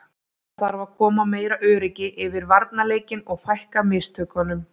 Það þarf að koma meira öryggi yfir varnarleikinn og fækka mistökunum.